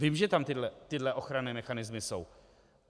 Vím, že tam tyto ochranné mechanismy jsou.